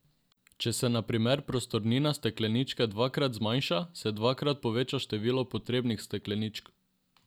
Če se na primer prostornina stekleničke dvakrat zmanjša, se dvakrat poveča število potrebnih stekleničk.